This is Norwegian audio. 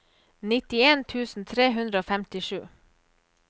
nittien tusen tre hundre og femtisju